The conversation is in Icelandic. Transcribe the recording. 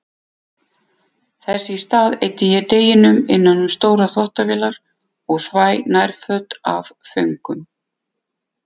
Þess í stað eyði ég deginum innan um stórar þvottavélar og þvæ nærföt af föngum.